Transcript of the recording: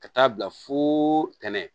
Ka taa bila fo ntɛnɛn